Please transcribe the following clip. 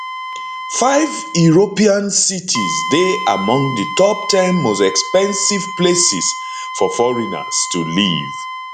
five european cities dey among di top ten most expensive places for foreigners to live